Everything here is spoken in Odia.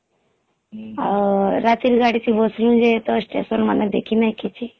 ଆଃ ହଁ ହଁ ରାତିରେ ଗାଡି ଥିବହମ୍ରେ ତ Station ମାନେ ଦେଖି ନାହିଁ କିଛି